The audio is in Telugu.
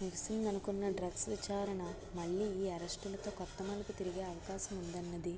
ముగిసిందనుకున్న డ్రగ్స్ విచారణ మళ్ళీ ఈ అరెస్టులతో కొత్త మలుపు తిరిగే అవకాశముందన్నది